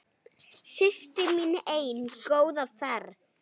Systir mín ein, góða ferð.